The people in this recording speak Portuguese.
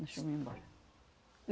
Deixa eu ir-me embora.